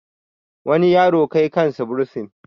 wani yaro Kai kansa bursin